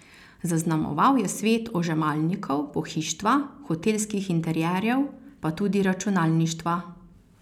Zaznamoval je svet ožemalnikov, pohištva, hotelskih interierjev, pa tudi računalništva.